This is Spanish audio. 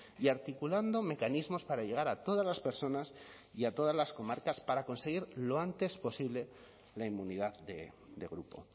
y articulando mecanismos para llegar a todas las personas y a todas las comarcas para conseguir lo antes posible la inmunidad de grupo